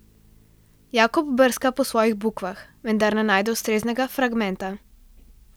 Jakob brska po svojih bukvah, vendar ne najde ustreznega fragmenta.